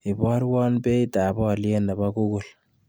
Ibarwon beitap oliet ne po google